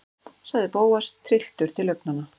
sagði Bóas, trylltur til augnanna.